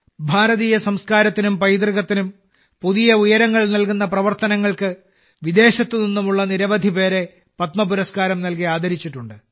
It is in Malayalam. ഇന്ത്യൻ സംസ്കാരത്തിനും പൈതൃകത്തിനും പുതിയ ഉയരങ്ങൾ നൽകുന്ന പ്രവർത്തനങ്ങൾക്ക് വിദേശത്തുനിന്നും നിരവധിപേർ പത്മ പുരസ്കാരം നൽകി ആദരിച്ചിട്ടുണ്ട്